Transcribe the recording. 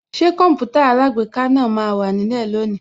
Ṣé Kọǹpútà alágbèéká náà máa wà nílẹ̀ lónìí